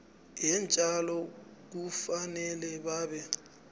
yeentjalo kufanele babe